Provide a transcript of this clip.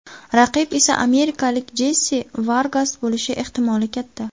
Raqib esa amerikalik Jessi Vargas bo‘lishi ehtimoli katta.